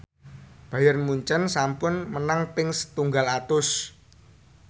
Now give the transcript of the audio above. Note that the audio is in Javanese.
Bayern Munchen sampun menang ping setunggal atus